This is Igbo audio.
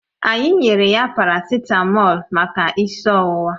Anyị nyere ya paracitamọ̀lu maka isi ọwụwa